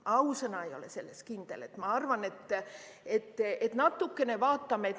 Ausõna, ei ole selles kindel!